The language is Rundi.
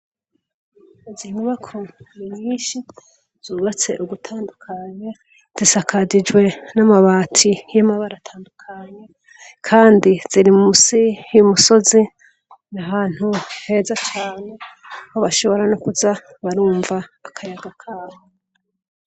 Izi nyubako ni nyinshi, zubatse ugutandukanye , zisakajijwe n'amabati y'amabara atandukanye ,kandi ziri musi y'umusozi, n'ahantu heza cane, aho bashobora no kuza barumva akayaga kaho.